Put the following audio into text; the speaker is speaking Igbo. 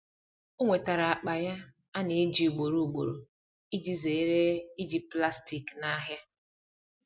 o nwetara akpa ya ana eji ugboro ugboro iji zere iji plastik na ahia